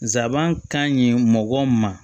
Zaban ka ɲi mɔgɔ ma